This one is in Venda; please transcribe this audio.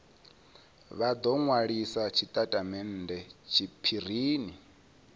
vha do nwalisa tshitatamennde tshiphirini